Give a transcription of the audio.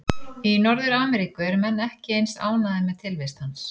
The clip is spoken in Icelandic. Í Norður-Ameríku eru menn ekki eins ánægðir með tilvist hans.